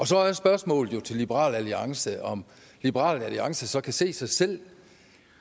så er spørgsmålet jo til liberal alliance om liberal alliance så kan se sig selv